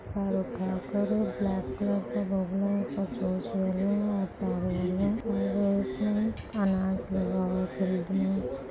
black colour